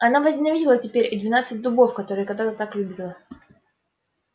она возненавидела теперь и двенадцать дубов которые когда-то так любила